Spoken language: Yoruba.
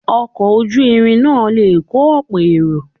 Ọkọ̀ ojú irin náà le kọ́ ọ̀pọ̀ èrò.